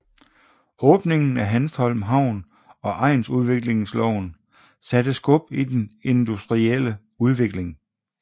Åbningen af Hanstholm Havn og egnsudviklingsloven satte skub i den industrielle udvikling